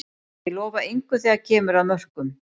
Ég lofa engu þegar að kemur að mörkum.